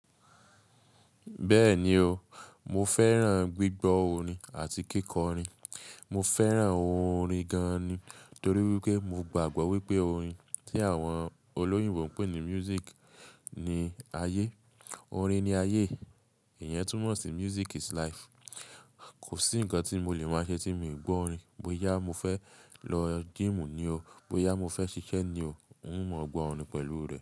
Bẹ́ẹ̀ni ó, mo fẹ́ràn gbígbọ́ orin àti kíkọ orin. Mo fẹ́ràn ohun orin gan ni torí pé mo gbàgbọ́ wípé orin tí àwọn olóyìnbó ń pè ní music ni ayé. Orin ni ayé. Ìyẹn túmọ̀ sí music is life. Kò sí nǹkan tí mo lè máa ṣe tí ǹ mi gbọ́ orin. Bóyá mo fé lo gym ní ó, bóyá mo fé sisé ní ó, máa mo gbó orin pèlú rè.